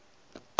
le ge a no ba